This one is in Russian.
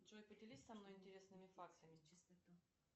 джой поделись со мной интересными фактами